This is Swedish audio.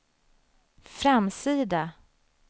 framsida